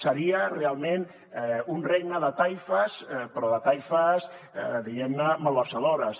seria realment un regne de taifes però de taifes diguem ne malversadores